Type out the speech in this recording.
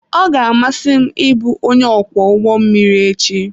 Ọ ga-amasị m ịbụ onye ọkwọ ụgbọ mmiri echi.